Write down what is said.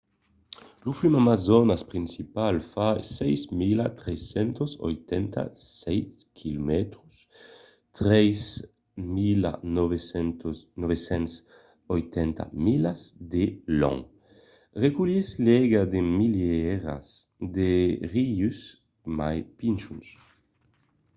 lo flum amazonas principal fa 6.387 km 3.980 milas de long. reculhís l'aiga de milierats de rius mai pichons